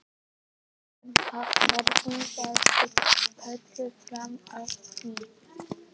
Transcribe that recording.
Björn: Haf, hafðirðu verið kölluð fram að því?